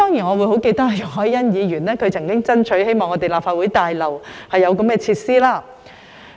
我記得容海恩議員曾經爭取在立法會大樓內提供這類設施。